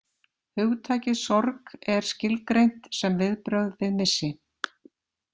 Hugtakið sorg er skilgreint sem viðbrögð við missi.